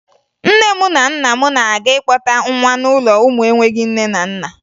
Nne m na nna m na-aga ịkpọta nwa n'ụlọ ụmụ enweghi nne na nna